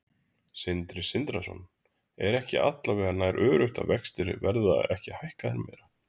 Sindri Sindrason: Er ekki alla vega nær öruggt að vextir verða ekki hækkaðir meira?